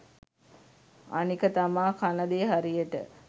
අනික තමා කනදේ හරියට